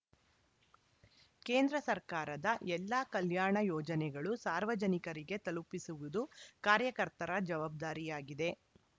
ಕೇಂದ್ರ ಸರ್ಕಾರದ ಎಲ್ಲ ಕಲ್ಯಾಣ ಯೋಜನೆಗಳು ಸಾರ್ವಜನಿಕರಿಗೆ ತಲುಪಿಸುವುದು ಕಾರ್ಯಕರ್ತರ ಜವಾಬ್ದಾರಿಯಾಗಿದೆ